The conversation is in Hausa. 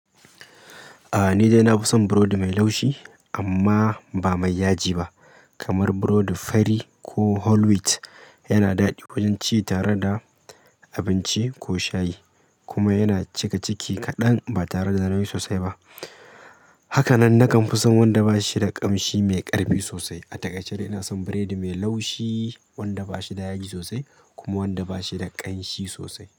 A'a ni dai na fi son burodi mai laushi amma ba mai yaji ba, kamar burodi fari ko whole wheat yana daɗi wajen ci tare da abinci ko shayi kuma yana cika ciki kaɗan ba tare da nauyi sosai ba. Hakanan nakan fi son wanda ba shi da kamshi mai ƙarfi sosai. A takaice dai ina son biredi mai laushi, wanda ba shi da yaji sosai kuma wanda ba shi da ƙanshi sosai.